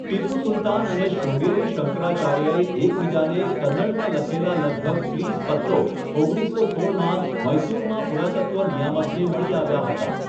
ટીપુ સુલતાન અને શૃંગેરી શંકરાચાર્યએ એકબીજાને કન્નડમાં લખેલા લગભગ ત્રીસ પત્રો ઓગણીસસો સોળમાં મૈસુરમાં પુરાતત્વ નિયામકને મળી આવ્યા હતા.